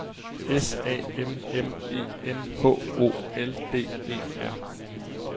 S A M M E N H O L D E R